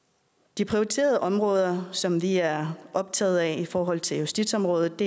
de prioriterede områder som vi er optaget af i forhold til justitsområdet